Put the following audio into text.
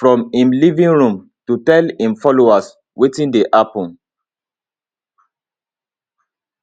from im living room to tell im followers wetin dey happen